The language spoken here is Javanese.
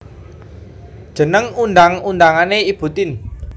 Jeneng undang undangané Ibu Tien